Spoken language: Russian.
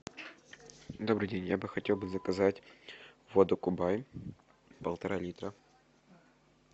добрый день я бы хотел бы заказать воду кубань полтора литра